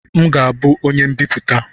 M ga-abụ onye mbiputa